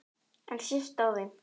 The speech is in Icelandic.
En sést á þeim?